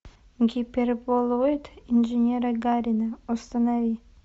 гиперболоид инженера гарина установи